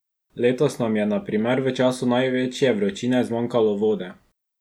Letos nam je na primer v času največje vročine zmanjkalo vode.